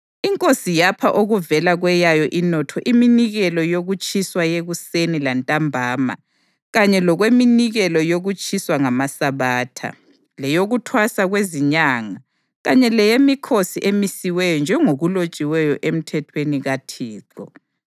Inkosi yapha okuvela kweyayo inotho iminikelo yokutshiswa yekuseni lantambama kanye lokweminikelo yokutshiswa ngamaSabatha, leyokuThwasa kweziNyanga kanye leyemikhosi emisiweyo njengokulotshiweyo eMthethweni kaThixo.